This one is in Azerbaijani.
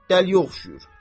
Dəliyə oxşuyur.